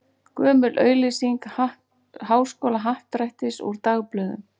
Gömul auglýsing Háskólahappdrættis úr dagblöðum.